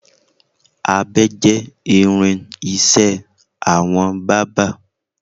Abẹ jẹ́ irin-iṣẹ́ àwọn bábà.